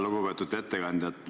Lugupeetud ettekandja!